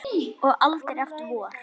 Og aldrei aftur vor.